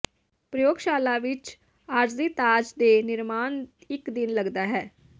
ਪ੍ਰਯੋਗਸ਼ਾਲਾ ਵਿੱਚ ਆਰਜ਼ੀ ਤਾਜ ਦੇ ਨਿਰਮਾਣ ਇੱਕ ਦਿਨ ਲੱਗਦਾ ਹੈ